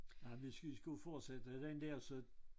Og hvis vi skulle fortsætte ad den der så